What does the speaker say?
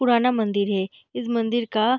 पुराना मंदिर है इस मंदिर का --